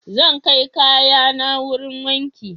Zan kai kayana wurin wanki.